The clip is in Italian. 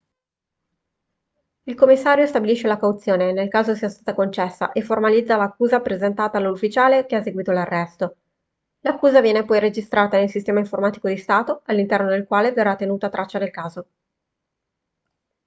il commissario stabilisce la cauzione nel caso sia stata concessa e formalizza l'accusa presentata dall'ufficiale che ha eseguito l'arresto l'accusa viene poi registrata nel sistema informatico di stato all'interno del quale verrà tenuta traccia del caso